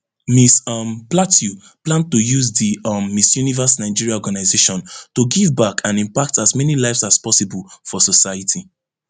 miss um plateau plan to use di um miss universe nigeria organisation to give back and impact as many lives as possible for society